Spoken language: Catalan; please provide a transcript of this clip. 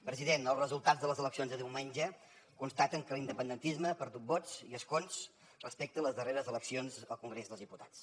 president els resultats de les eleccions de diumenge constaten que l’independentisme ha perdut vots i escons respecte a les darreres eleccions al congrés dels diputats